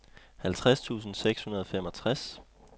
halvtreds tusind seks hundrede og femogtres